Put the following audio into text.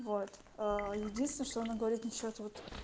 вот единственно что она говорит насчёт вот